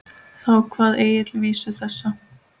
Þá kvað Egill vísu þessa